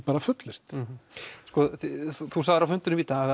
bara fullyrt þú sagðir á fundinum í dag